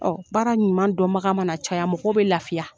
Ɔ baara ɲuman donbaga mana caya mɔgɔ bɛ lafiya.